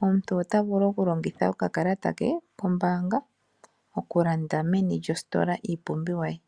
omuntu ota vulu okulongitha okakalata ke kombaanga okulanda meni lyositola iipumbiwa ye.